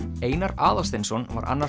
Einar Aðalsteinsson var annar